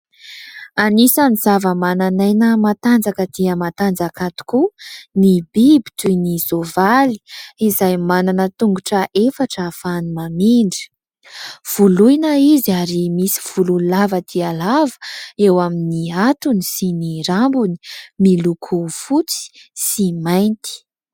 Anisany zava-manan'aina matanjaka dia matanjaka tokoa ny biby toy ny soavaly, izay manana tongotra efatra afahany mamindra, voloina izy ary misy volo lava dia lava eo amin'ny hatony sy ny rambony, miloko fotsy sy mainty.